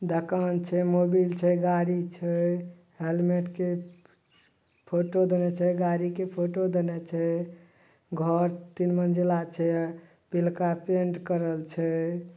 दोकान छै मोभील छै गाड़ी छै हेलमेट के फोटो देले छै गाड़ी के फोटो देले छै घर तीन मंजिला छै पिरका पैंट करल छै।